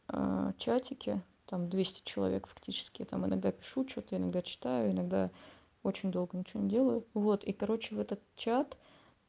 а чатики там двести человек фактически этом иногда пишу что-то иногда читаю иногда очень долго ничего не делаю вот и короче в этот чат